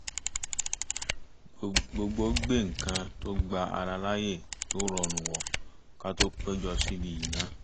gbogbo gbé nǹkan tó gba ara láàyè tó rọrùn wọ̀ ká tó péjọ sí ibi iná